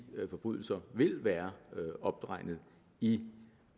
forbrydelser vil være opregnet i